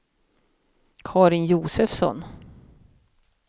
Carin Josefsson